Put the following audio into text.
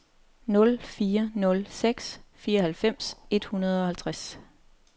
nul fire nul seks fireoghalvfems et hundrede og halvtreds